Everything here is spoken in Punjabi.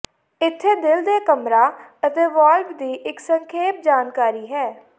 ਇੱਥੇ ਦਿਲ ਦੇ ਕਮਰਾ ਅਤੇ ਵਾਲਵ ਦੀ ਇੱਕ ਸੰਖੇਪ ਜਾਣਕਾਰੀ ਹੈ